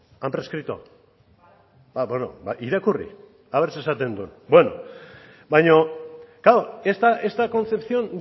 han prescrito bueno ba irakurri ea zer esaten duen claro esta concepción